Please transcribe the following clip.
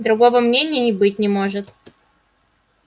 другого мнения и быть не может